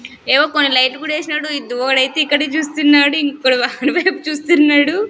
ఏవో కొన్ని లైటు కూడా ఏసినాడు ఒడైతే ఇక్కడే చూస్తున్నాడు ఇంకొకడు వాడి వైపు చూస్తున్నాడు.